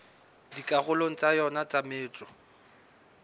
dikarolong tsa yona tsa metso